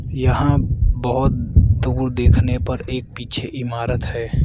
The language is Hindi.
यहां बहुत दूर देखने पर एक पीछे इमारत है।